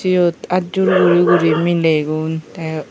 eyut aat jur guri guri milegun teh.